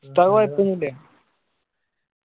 ഉസ്താദ് കോയപ്പോന്നുല്ല